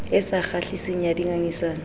e sa kgahliseng ya dingangisano